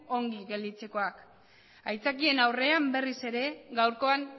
ongi gelditzekoak aitzakien aurrean berriz ere gaurkoan